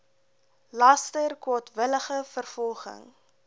laster kwaadwillige vervolging